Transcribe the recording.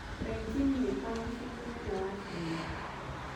Beijing nĩkuo mũciĩ mũnene wa China.